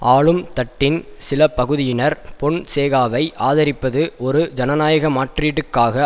ஆளும் தட்டின் சில பகுதியினர் பொன்சேகாவை ஆதரிப்பது ஒரு ஜனநாயக மாற்றீட்டுக்காக